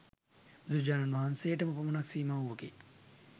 බුදුරජාණන් වහන්සේටම පමණක් සීමා වූවකි.